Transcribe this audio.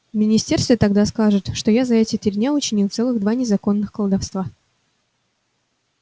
в министерстве тогда скажут что я за три дня учинил целых два незаконных колдовства